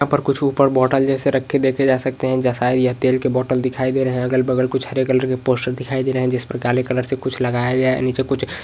यहाँ पर कुछ बॉटल ऊपर रखे देखे जा सकते हैं जैसा ये तेल की बॉटले दिखाई दे रही है अलग बगल कुछ हरे कलर के पोस्टर दिखाई दे रहे हैं जिस पर काले कलर से कुछ लगाया गया है नीचे कुछ --